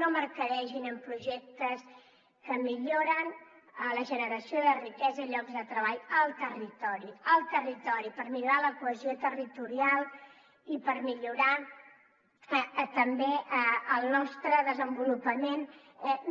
no mercadegin amb projectes que milloren la generació de riquesa i llocs de treball al territori per millorar la cohesió territorial i per millorar també el nostre desenvolupament